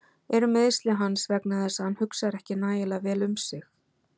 Eru meiðsli hans vegna þess að hann hugsar ekki nægilega vel um sig?